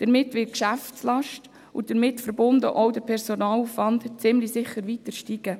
Damit wird die Geschäftslast, und damit verbunden der Personalaufwand, ziemlich sicher weiter steigen.